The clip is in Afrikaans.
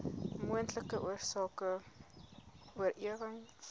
moontlike oorsake oorerwing